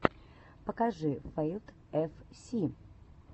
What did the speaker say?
покажи фэйтл эф си